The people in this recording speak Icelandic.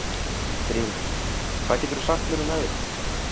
Brimir, hvað geturðu sagt mér um veðrið?